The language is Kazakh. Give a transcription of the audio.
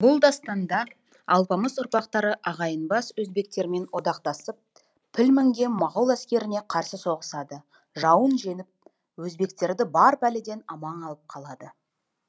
бұл дастанда алпамыс ұрпақтары ағайындас өзбектермен одақтасып піл мінген моғол әскеріне қарсы соғысады жауын жеңіп өзбектерді бар пәледен аман алып қалады